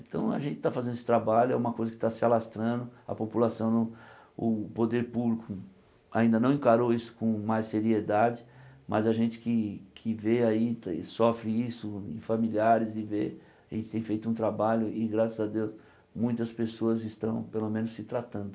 Então a gente está fazendo esse trabalho, é uma coisa que tá se alastrando, a população não, o poder público ainda não encarou isso com mais seriedade, mas a gente que que e vê aí e sofre isso em familiares e vê, a gente tem feito um trabalho e graças a Deus muitas pessoas estão pelo menos se tratando.